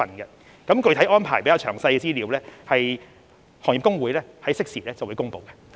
至於具體安排和詳細資料，行業公會會適時公布。